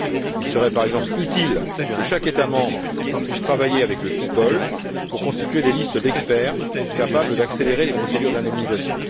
Il serait, par exemple, utile que chaque État membre puisse travailler avec le FIPOL pour constituer des listes d'experts capables d'accélérer les procédures d'indemnisation.